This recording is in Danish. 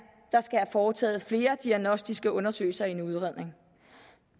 foretaget flere diagnostiske undersøgelser i en udredning